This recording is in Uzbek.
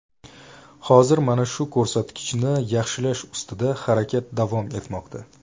Hozir mana shu ko‘rsatkichni yaxshilash ustida harakat davom etmoqda.